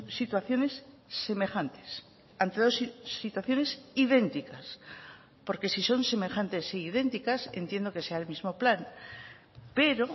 situaciones semejantes ante dos situaciones idénticas porque si son semejantes e idénticas entiendo que sea el mismo plan pero